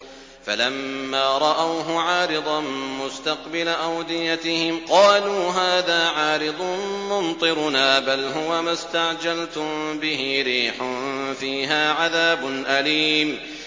فَلَمَّا رَأَوْهُ عَارِضًا مُّسْتَقْبِلَ أَوْدِيَتِهِمْ قَالُوا هَٰذَا عَارِضٌ مُّمْطِرُنَا ۚ بَلْ هُوَ مَا اسْتَعْجَلْتُم بِهِ ۖ رِيحٌ فِيهَا عَذَابٌ أَلِيمٌ